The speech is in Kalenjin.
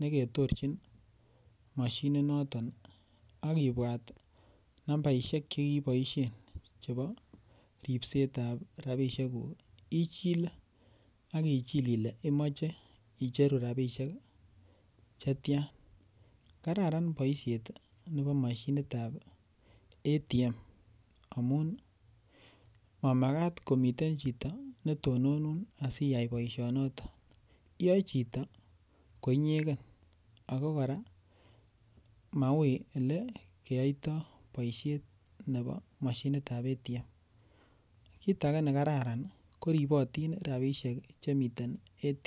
nekitorjin mashini noton akibwat nambaishek chekiboishen chebo ripsetab rabishekuk ichile akichil ile imoche icheru rabishek chetya kararan boishet nebo mashinitab ATM amun mamakat komiten chito netonunun asiyai boishonoto iyoe chito ko inyeken ako kora maui ole keyoitoi boishet nebo mashinitab ATM kiit age nekararan koribotin rabishek chemiten ATM